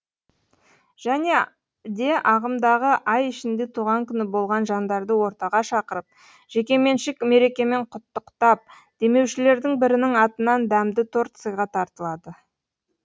және де ағымдағы ай ішінде туған күні болған жандарды ортаға шақырып жекеменшік мерекемен құттықтап демеушілердің бірінің атынан дәмді торт сыйға тартылады